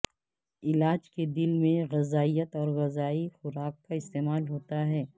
علاج کے دل میں غذائیت اور غذائی خوراک کا استعمال ہوتا ہے